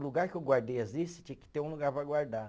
O lugar que eu guardei as lista tinha que ter um lugar para guardar.